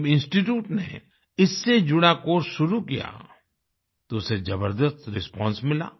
जब इंस्टीट्यूट ने इससे जुड़ा कोर्स शुरू किया तो उसे जबरदस्त रिस्पांस मिला